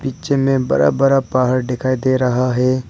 पीछे में बड़ा बड़ा पहाड़ दिखाई दे रहा है।